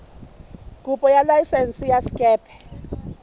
kopo ya laesense ya sekepe